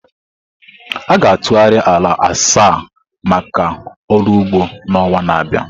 A ga-atụgharị ala asaa maka ọrụ ugbo n'ọnwa na-abịa.